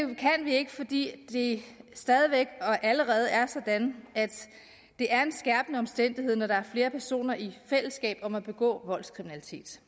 kan vi ikke fordi det allerede er sådan at det er en skærpende omstændighed når der er flere personer i fællesskab om at begå voldskriminalitet